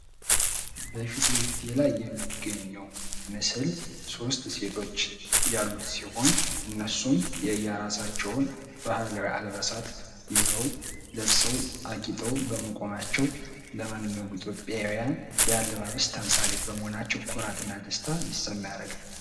በፊት ለፊቴ ላይ የሚገኘው ምስል ሶስት ሴቶች ያሉት ሲሆን እነሱም የየራሳቸውን ባህላዊ አልባሳት ይዘው ለብሰው አጊጠው በመቆማቸው ለማንኛውም ኢትዮጵያውያን የአለባበስ ተምሳሌት በመሆናቸው ኩራትና ደስታ እንድሰማ ያደርጋል።